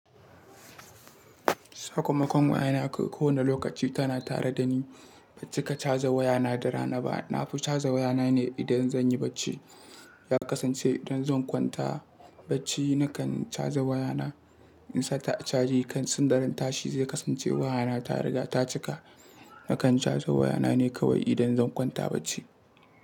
Sakamakon wayana ko wane lokaci tana tare da ni. Ban cika caje wayana da rana ba. Na fi caje wayana ne idan zan yi bacci. Ya kasance idan zan kwanta bacci nakan caje wayana. In sata a caje kan sanda tashi zai kasance wayana ta riga ta cika. Nakan caje wayana ne kawai idan zan kwanta bacci.